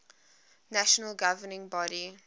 national governing body